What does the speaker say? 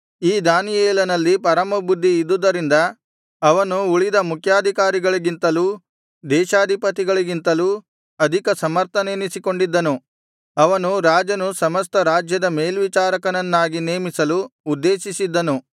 ಈ ದಾನಿಯೇಲನಲ್ಲಿ ಪರಮಬುದ್ಧಿ ಇದ್ದುದರಿಂದ ಅವನು ಉಳಿದ ಮುಖ್ಯಾಧಿಕಾರಿಗಳಿಗಿಂತಲೂ ದೇಶಾಧಿಪತಿಗಳಿಗಿಂತಲೂ ಅಧಿಕ ಸಮರ್ಥನೆನಿಸಿಕೊಂಡಿದ್ದನು ಅವನನ್ನು ರಾಜನು ಸಮಸ್ತ ರಾಜ್ಯದ ಮೇಲ್ವಿಚಾರಕನನ್ನಾಗಿ ನೇಮಿಸಲು ಉದ್ದೇಶಿಸಿದ್ದನು